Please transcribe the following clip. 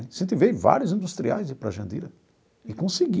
Incentivei vários industriais a ir para Jandira e consegui.